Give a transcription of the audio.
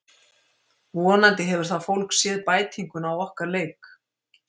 Vonandi hefur það fólk séð bætinguna á okkar leik.